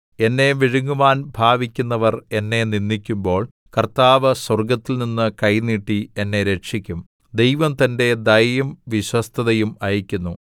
എന്നെ വിഴുങ്ങുവാൻ ഭാവിക്കുന്നവർ എന്നെ നിന്ദിക്കുമ്പോൾ കർത്താവ് സ്വർഗ്ഗത്തിൽനിന്ന് കൈ നീട്ടി എന്നെ രക്ഷിക്കും സേലാ ദൈവം തന്റെ ദയയും വിശ്വസ്തതയും അയയ്ക്കുന്നു